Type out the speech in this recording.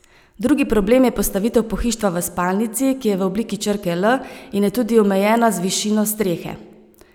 Drugi problem je postavitev pohištva v spalnici, ki je v obliki črke L in je tudi omejena z višino strehe.